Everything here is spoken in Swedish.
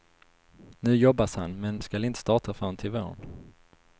Nu jobbas han men skall inte starta förrän till våren.